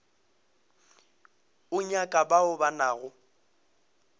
o nyaka bao ba nago